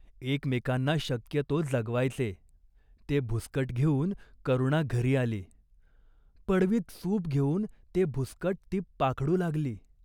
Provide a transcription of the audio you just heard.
एकमेकांना शक्य तो जगवायचे." ते भुसकट घेऊन करुणा घरी आली. पडवीत सूप घेऊन ते भुसकट ती पाखडू लागली.